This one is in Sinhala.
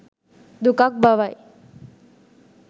දුකක් බවයි.